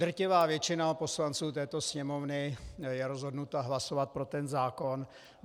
Drtivá většina poslanců této Sněmovny je rozhodnuta hlasovat pro ten zákon.